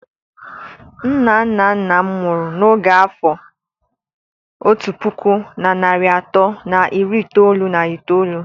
Nna nna nna m nwụrụ na oge n'afọ otu puku na narị atọ na iri itoolu na itoolu.